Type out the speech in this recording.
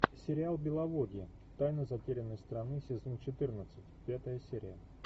сериал беловодье тайна затерянной страны сезон четырнадцать пятая серия